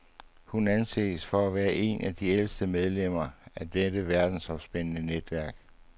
Hun anses for at være et af de ældste medlemmer af det verdensomspændende netværk.